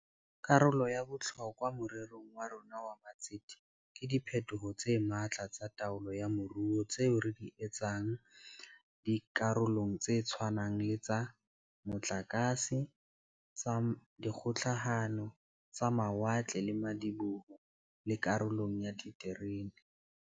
Karolo ya bohlokwa more rong wa rona wa matsete ke diphetoho tse matla tsa taolo ya moruo tseo re di etsang di karolong tse tshwanang le tsa motlakase, tsa dikgokahano, tsa mawatle le madiboho, le karolong ya diterene.